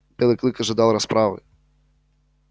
белый клык ожидал расправы